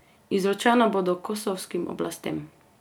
Izročena bodo kosovskim oblastem.